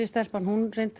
stelpan